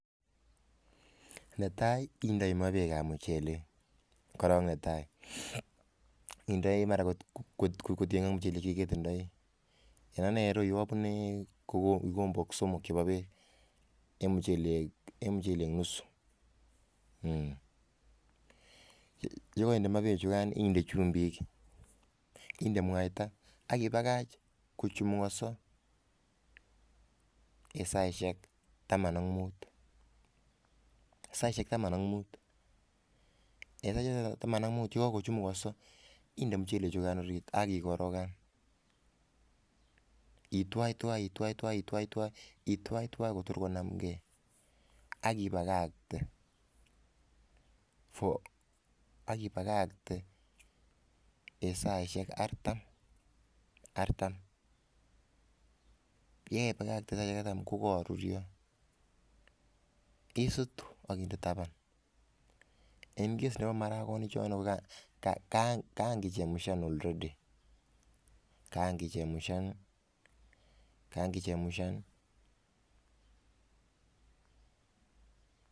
Netai indei ma bek ab muchelek ,koron netai indoi mara kotiyengei ak muchelek chetindoi en Ane en iroyu abune kikombok somok chebo bek en muchelek nusu aknyekainde bek chekan inde chumbik inde mwaita akibakach kochumukoso en saishek Taman am mut ak yekakochumukoso inde muchelek choton akikorogan akitwaitwai Kotor konamgei akibakakte en saishek artam ayikaibakakte saishek artam kokakorurio isutu akinde taban en maragonik choton kokakichemshan already akokakechemshan